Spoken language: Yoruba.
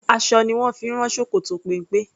Aṣọ ni wón fi ń rán ṣòkòtò péńpé.